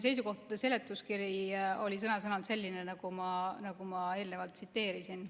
Seisukohtade seletuskiri oli sõna-sõnalt selline, nagu ma eelnevalt tsiteerisin.